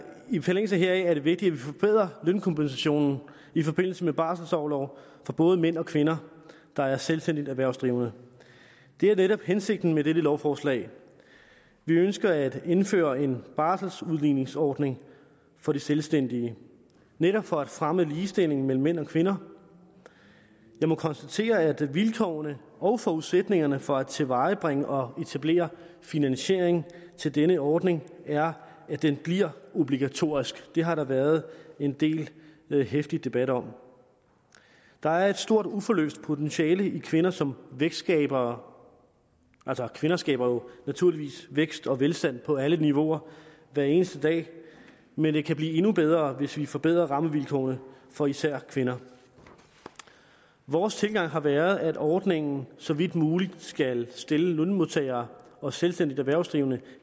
i forlængelse heraf er det vigtigt at vi forbedrer lønkompensationen i forbindelse med barselsorlov for både mænd og kvinder der er selvstændigt erhvervsdrivende det er netop hensigten med dette lovforslag vi ønsker at indføre en barselsudligningsordning for selvstændige netop for at fremme ligestilling mellem mænd og kvinder jeg må konstatere at vilkårene og forudsætningerne for at tilvejebringe og etablere finansiering til denne ordning er at den bliver obligatorisk det har der været en del heftig debat om der er et stort og uforløst potentiale i kvinder som vækstskabere altså kvinder skaber naturligvis vækst og velstand på alle niveauer hver eneste dag men det kan blive endnu bedre hvis vi forbedrer rammevilkårene for især kvinder vores tilgang har været at ordningen så vidt muligt skal stille lønmodtagere og selvstændigt erhvervsdrivende